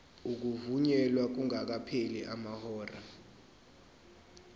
ukuvunyelwa kungakapheli amahora